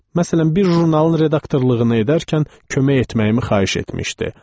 Məsələn, bir jurnalın redaktorluğunu edərkən kömək etməyimi xahiş etmişdi.